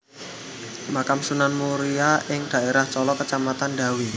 Makam Sunan Muria ing daerah Colo Kacamatan Dawe